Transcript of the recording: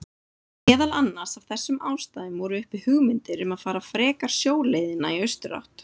Meðal annars af þessum ástæðum voru uppi hugmyndir um að fara frekar sjóleiðina í austurátt.